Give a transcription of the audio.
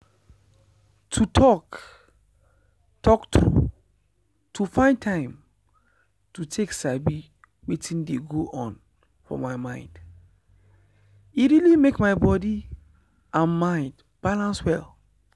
to talk talk true to find time to take sabi wetin dey go on for my mind e really make my body and mind balance well.